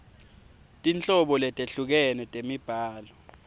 tinhlobo letehlukene temibhalo